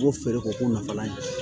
U b'o feere k'o k'o nafalan ye